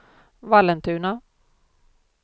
Vallentuna